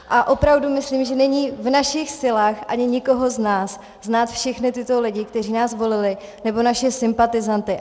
A opravdu myslím, že není v našich silách ani nikoho z nás znát všechny tyto lidi, kteří nás volili, nebo naše sympatizanty.